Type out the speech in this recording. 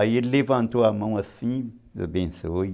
Aí ele levantou a mão assim, abençoe.